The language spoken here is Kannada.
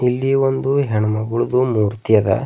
ಇಲ್ಲಿ ಒಂದು ಹೆಣ್ಮಕ್ಳುದು ಮೂರ್ತಿ ಅದ.